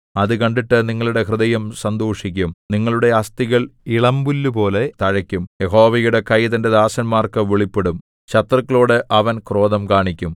അത് കണ്ടിട്ട് നിങ്ങളുടെ ഹൃദയം സന്തോഷിക്കും നിങ്ങളുടെ അസ്ഥികൾ ഇളമ്പുല്ലുപോലെ തഴയ്ക്കും യഹോവയുടെ കൈ തന്റെ ദാസന്മാർക്ക് വെളിപ്പെടും ശത്രുക്കളോട് അവൻ ക്രോധം കാണിക്കും